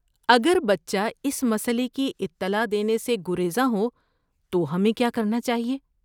اگر بچہ اس مسئلے کی اطلاع دینے سے گریزاں ہو تو ہمیں کیا کرنا چاہیے؟